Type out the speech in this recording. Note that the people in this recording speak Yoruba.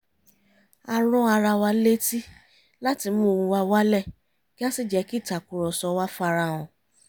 a ran ara wa létí láti mu ohùn wa wálẹ̀ kí á sì jẹ́ kí ìtàkùrọ̀sọ wa farahàn